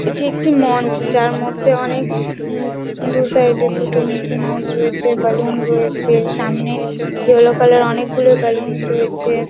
এটি একটি মঞ্চ যার মধ্যে অনেক উম দু সাইড -এ দুটো মিকি মাউস রয়েছে বলুন রয়েছে । সামনে ইয়ালো কালার অনেক গুলো বালুন -স রয়েছে।